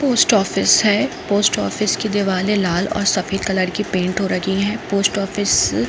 Post office से post office के दिवारे लाल और सफेद कलर से पेट हो रखी है। डाकघर --